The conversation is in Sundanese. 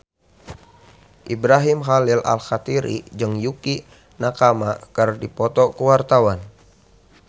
Ibrahim Khalil Alkatiri jeung Yukie Nakama keur dipoto ku wartawan